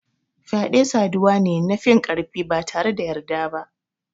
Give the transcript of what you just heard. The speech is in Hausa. Fyade saduwa ne na finkarfi batare da yarda ba.